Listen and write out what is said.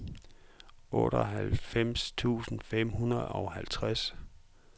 otteoghalvfems tusind fem hundrede og halvtreds